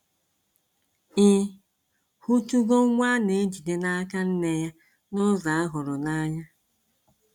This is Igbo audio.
Ị hụtugo nwa a na-ejide n’aka nne ya n’ụzọ ahụrụnanya?